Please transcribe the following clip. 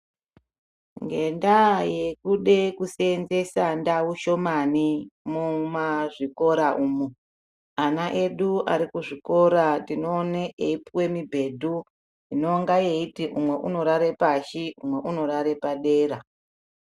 Ngendaa yekuda kuseenzesa ndau shomani mumazvikora umwu ana edu arikuzvikora tinoaona eipuwa mibhedhu yekuti umweni unowata pashi umweni unoata padera.